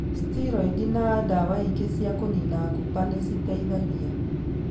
Steroid na ndawa ingĩ cia kũnina kuumba nĩ citeithagia.